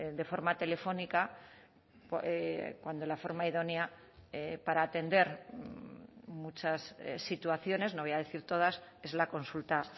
de forma telefónica cuando la forma idónea para atender muchas situaciones no voy a decir todas es la consulta